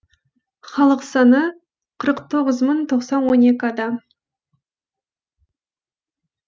халық саны қырық тоғыз мың тоқсан он екі адам